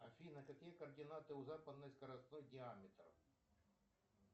афина какие координаты у западный скоростной диаметр